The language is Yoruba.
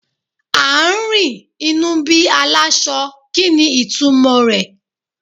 À ń rìn, inú bí aláṣọ, kí ni ìtumò rẹ̀?